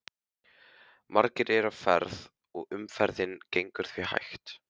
Margir eru á ferð og umferðin gengur því hægt.